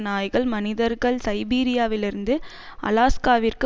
நாய்கள் மனிதர்கள் சைபீரியாவிலிருந்து அலாஸ்காவிற்கு